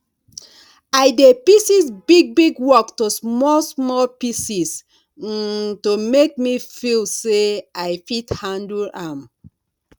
i dey pieces big big work to small small pieces um to make me feel say i fit handle am